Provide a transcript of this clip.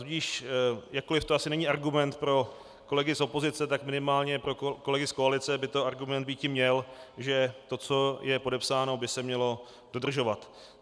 Tudíž jakkoliv to asi není argument pro kolegy z opozice, tak minimálně pro kolegy z koalice by ten argument býti měl, že to, co je podepsáno, by se mělo dodržovat.